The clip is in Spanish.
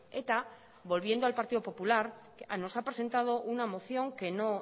eta volviendo al partido popular nos ha presentado una moción que no